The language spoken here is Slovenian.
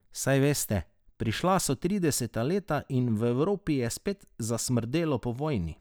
Saj veste, prišla so trideseta leta in v Evropi je spet zasmrdelo po vojni.